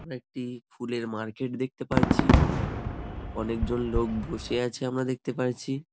আমরা একটি ফুলের মার্কেট দেখতে পারছি অনেকজন লোক বসে আছে আমরা দেখতে পারছি ।